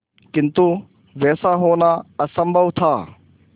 किंतु वैसा होना असंभव था